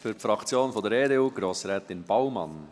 Für die Fraktion der EDU, Grossrätin Baumann.